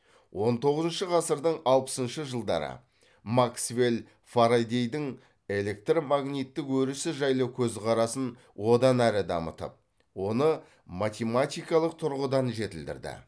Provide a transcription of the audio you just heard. он тоғызыншы ғасырдың алпысыншы жылдары максвелл фарадейдің электромагниттік өрісі жайлы көзқарасын онан әрі дамытып оны математикалық тұрғыдан жетілдірді